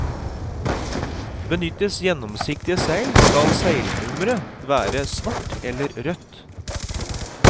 Benyttes gjennomsiktige seil skal seilnummeret være svart eller rødt.